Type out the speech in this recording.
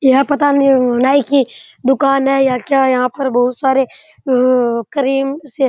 यह पता नहीं नाइ की दुकान है या क्या यहाँ पे बहुत सारे क्रीम से --